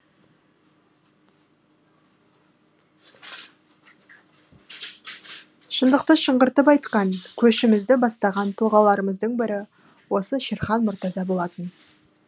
шындықты шыңғыртып айтқан көшімізді бастаған тұлғаларымыздың бірі осы шерхан мұртаза болатын